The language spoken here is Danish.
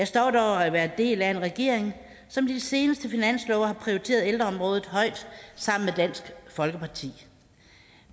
stolt over at være en del af en regering som med de seneste finanslove har prioriteret ældreområdet højt sammen med dansk folkeparti